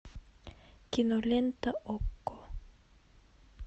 кинолента окко